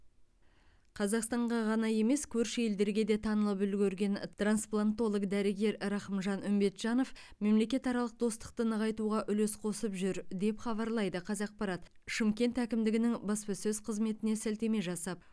қазақстанға ғана емес көрші елдерге де танылып үлгерген трансплантолог дәрігер рахымжан үмбетжанов мемлекетаралық достықты нығайтуға үлес қосып жүр деп хабарлайды қазақпарат шымкент әкімдігінің баспасөз қызметіне сілтеме жасап